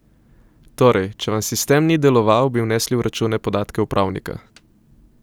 Torej, če vam sistem ni deloval, bi vnesli v račune podatke upravnika!